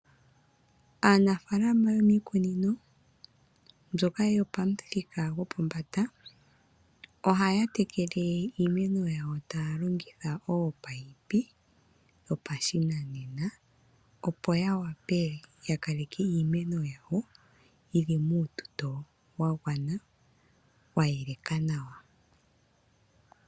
Aanafaalama yomiikunino mbyoka yopamuthika gopombanda ohaya tekele iimeno yawo taya longitha oopaipi dhopashinanena, opo ya wape ya kale ke iimeno yawo yi li muututo wa gwana wa yeleka nawa.